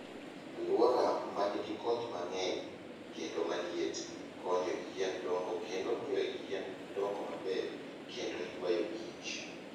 Aluora ma nigi koth mang'eny kendo ma liet, konyo yien dongo kendo miyo yien dongo maber kendo yuayo kich.